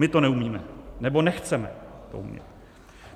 My to neumíme, nebo nechceme to umět.